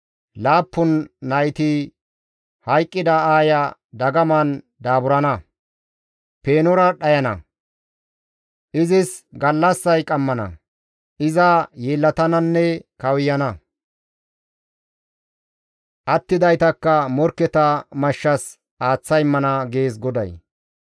Laappun nayti hayqqida aaya dagaman daaburana; peenora dhayana izis gallassay qammana; iza yeellatananne kawuyana; attidaytakka morkketa mashshas aaththa immana» gees GODAY.